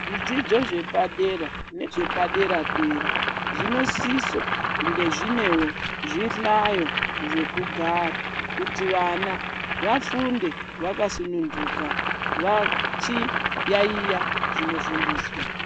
Zvidzidzo zvepadera nezvepadera dera zvinosiso kunge zvinewo zvihlayo zvekugara kuti vana vafunda vakasundunuka vachiyaiya zvinofundiswa.